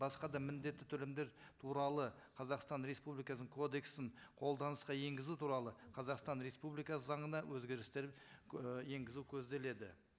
басқа да міндетті төлемдер туралы қазақстан республикасының кодексін қолданысқа енгізу туралы қазақстан республикасы заңына өзгерістер і енгізу көзделеді